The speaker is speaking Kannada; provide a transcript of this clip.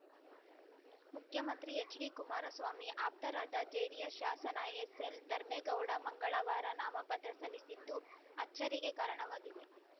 ಮುಖ್ಯಮಂತ್ರಿ ಎಚ್‌ಡಿಕುಮಾರಸ್ವಾಮಿ ಆಪ್ತರಾದ ಜೆಡಿಎಸ್‌ ಶಾಸನ ಎಸ್‌ಎಲ್‌ಧರ್ಮೇಗೌಡ ಮಂಗಳವಾರ ನಾಮಪತ್ರ ಸಲ್ಲಿಸಿದ್ದು ಅಚ್ಚರಿಗೆ ಕಾರಣವಾಗಿದೆ